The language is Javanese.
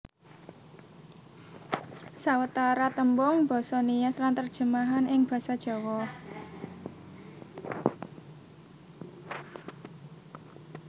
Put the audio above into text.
Sawetara tembung basa Nias lan terjemahan ing Basa Jawa